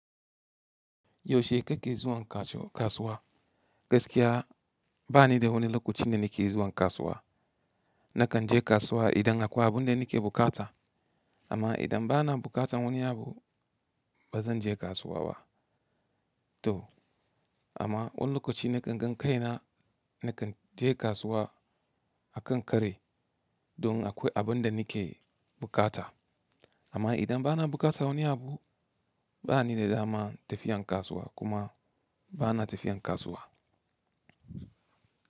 Yaushe kake zuwan kasuwa? Gaskiya, ba ni da wani lokacin da nake zuwan kasuwa. Nakan je kasuwa idan akwai abin da nake buƙata, amma idan bana buƙatan wani abu ba zan je kasuwa ba. To, amma wani lokaci nakan gan kaina nakan je kasuwa akan kari, don akwai abun da nike buƙata. Amma idan bana buƙatan wani abu, ba ni da dama tafiyan kasuwa kuma bana tafiyan kasuwa.